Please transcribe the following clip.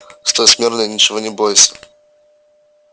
стой смирно и ничего не бойся